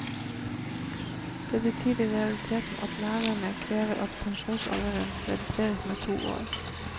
Det betyr i realiteten at lærerne krever at pensjonsalderen reduseres med to år.